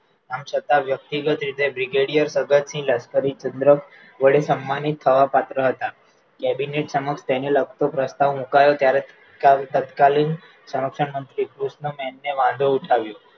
આમ છતાં વ્યકતિગત રીતે brigadier જગતસિંહ લશકરી ચંદ્ર વડે સન્માનિત થવા પાત્ર હતા cabinet સમક્ષ તેને લાગતો પ્રસ્તાવ મુકાયો ત્યારે તત્કાલીન સરંક્ષણ મંત્રી કૃષ્ણમેહને વાંધો ઉઠાવ્યો